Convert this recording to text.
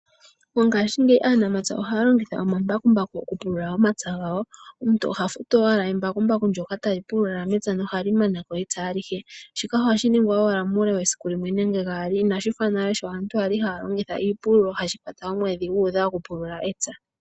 Mongashingeyi aanamapya ohaya longitha omambakumbaku okupulula omapya gawo. Omuntu oha futu owala embakumbaku ndyoka tali pulula mepya nohali mana ko epya alihe. Shika ohashi ningwa owala muule wesiku limwe nenge gaali inashi fa nale sho aantu yali haya longitha iipululo hashi kwata omwedhi gu udha okupulula epya.